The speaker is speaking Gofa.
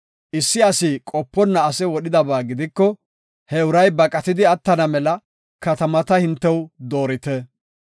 issi asi qoponna ase wodhidaba gidiko he uray baqatidi attana mela katamata hintew doorite.